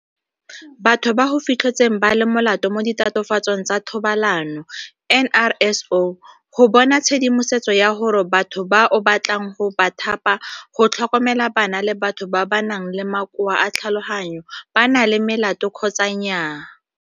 Batho ba go Fitlhetsweng ba le Molato mo Ditatofatsong tsa Thobalano NRSO go bona tshedimosetso ya gore batho ba o batlang go ba thapa go tlhokomela bana le batho ba ba nang le makoa a tlhaloganyo ba na le melato kgotsa nnyaa.